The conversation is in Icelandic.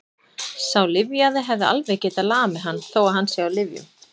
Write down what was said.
Sá lyfjaði hefði alveg getað lamið hann, þó að hann sé á lyfjum.